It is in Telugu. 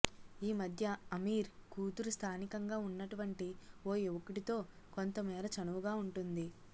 ఈ మధ్య అమీర్ కూతురు స్థానికంగా ఉన్నటువంటి ఓ యువకుడితో కొంతమేర చనువుగా ఉంటోంది